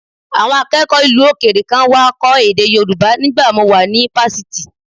Àwọn akẹ́kọ̀ọ́ ìlú òkèèrè kan wá kọ́ èdè Yorùbá nígbà mo wà ní fásitì